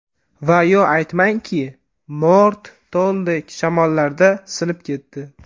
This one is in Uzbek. Va yo aytmangki, mo‘rt toldek, Shamollarda sinib ketdi.